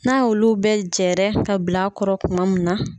N'a y' olu bɛ jɛɛrɛ ka bilakɔrɔ kuma min na.